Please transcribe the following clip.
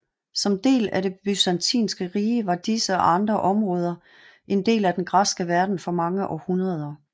Som del af Det byzantinske rige var disse og andre områder en del af den græske verden for mange århundreder